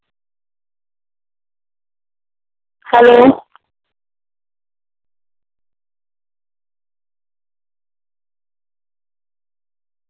hello